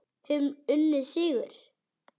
Höfum unnið sigur.